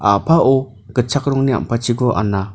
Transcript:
a·pao gitchak rongni ampatchiko anna.